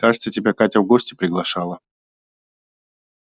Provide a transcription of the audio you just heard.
кажется тебя катя в гости приглашала